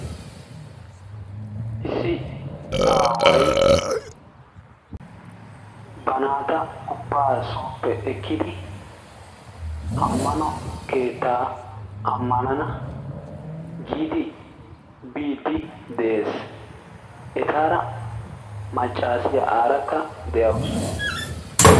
issi aaawy ba naata ubaa sooppe ekkidi amano keettaa ammanana giidi biidi dees etaara macaassiya aarakka de'awusu.